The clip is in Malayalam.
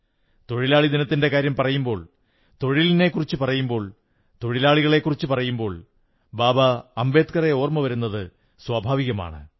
തൊഴിലാളി ദിനത്തിന്റെ കാര്യം പറയുമ്പോൾ തൊഴിലിനെക്കുറിച്ചു പറയുമ്പോൾ തൊഴിലാളികളെക്കുറിച്ചു പറയുമ്പോൾ ബാബാ സാഹേബ് അംബേദ്കറെ ഓർമ്മ് വരുന്നത് സ്വാഭാവികമാണ്